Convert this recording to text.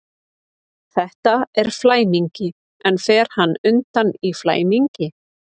Þetta er flæmingi, en fer hann undan í flæmingi?